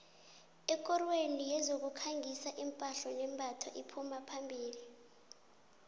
ekorweni yezokukhangisa iphahla nembatho iphuma phambili